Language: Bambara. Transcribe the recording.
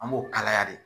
An b'o kalaya de